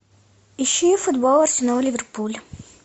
ищи футбол арсенал ливерпуль